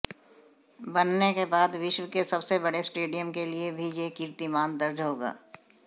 बनने के बाद विश्व के सबसे बड़े स्टेडियम के लिए भी यह कीर्तिमान दर्ज होगा